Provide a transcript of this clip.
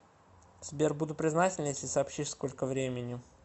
сбер буду признателен если сообщишь сколько времени